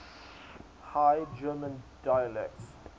high german dialects